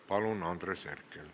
Palun, Andres Herkel!